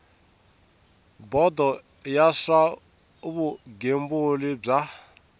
bodo ya swa vugembuli bya